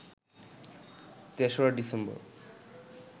৩রা December